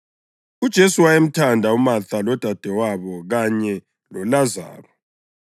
UJesu wayemthanda uMatha lodadewabo kanye loLazaro.